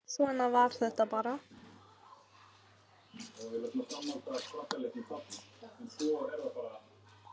Svona var þetta bara.